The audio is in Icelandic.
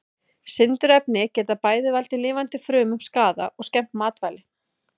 Sindurefni geta bæði valdið lifandi frumum skaða og skemmt matvæli.